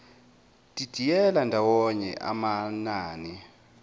didiyela ndawonye amanani